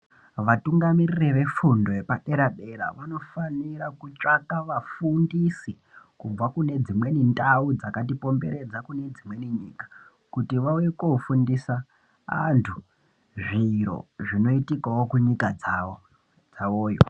Vatungamiriri vefundo yepadera-dera vanofanira kutsvaka vafundisi kubva kune dzimweni ndau dzakatikomberedza kune dzimweni nyika kuti vauye koofundisa antu zviro zvinoitikawo kunyika dzavo, dzavoyo.